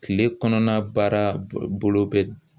Kile kɔnɔna baara bolo bɛ